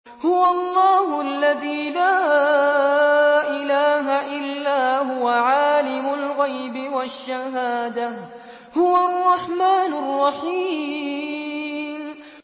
هُوَ اللَّهُ الَّذِي لَا إِلَٰهَ إِلَّا هُوَ ۖ عَالِمُ الْغَيْبِ وَالشَّهَادَةِ ۖ هُوَ الرَّحْمَٰنُ الرَّحِيمُ